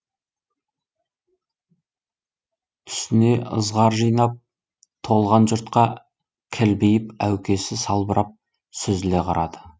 түсіне ызғар жинап толған жұртқа кілбиіп әукесі салбырап сүзіле қарады